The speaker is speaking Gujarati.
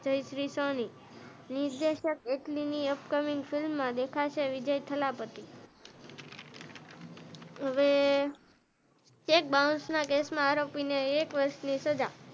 જયશ્રી સોની નિર્દેશક તેની અપ કમીંગ ફિલ્મ માં દેખાશે વિજય ઠાલાપતી હવે એક બાઉન્સ ના કેસ માં આરોપી ને એક વર્ષ ની સજા,